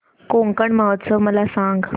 कोकण महोत्सव मला सांग